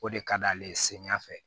O de ka d'ale ye samiya fɛ